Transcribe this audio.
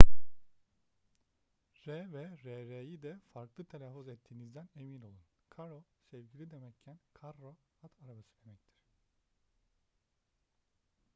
r ve rr'yi de farklı telaffuz ettiğinizden emin olun caro sevgili demekken carro at arabası demektir